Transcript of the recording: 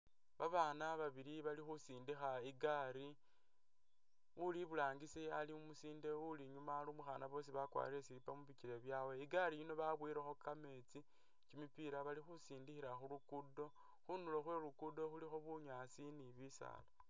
Babaana babili bali khusindikha igaali, uli burangisi ali umusinde uli inyuma ali umukhaana boosi bakwalire slipper mubikele byawe, igaali yino babowelekho kameetsi kimipila bali khusindikhila khulugudo, khundulo khwelugudo khulikho bunyaasi ni bisaala